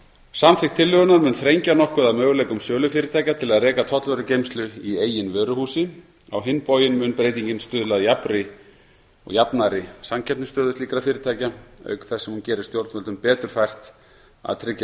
samþykkt tillögunnar mun þrengja nokkuð að möguleikum sölufyrirtækja til að reka tollvörugeymslu í eigin vöruhúsi á hinn bóginn mun breytingin stuðla að jafnari samkeppnisstöðu slíkra fyrirtækja auk þess sem hún gerir stjórnvöldum betur fært að tryggja